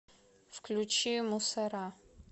включи мусора